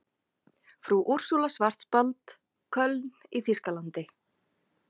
Frú Úrsúla Schwarzbad, Köln í þýskalandi.